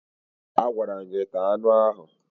Agwara m gị taa anụ ahụ!